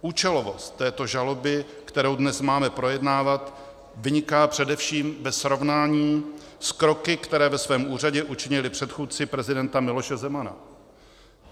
Účelovost této žaloby, kterou dnes máme projednávat, vyniká především ve srovnání s kroky, které ve svém úřadě učinili předchůdci prezidenta Miloše Zemana.